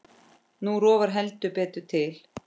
Nú rofar heldur betur til.